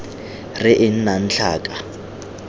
r e e nnang tlhaka